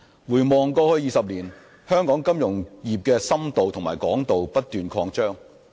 回望過去20年，香港金融業的深度和廣度不斷擴展。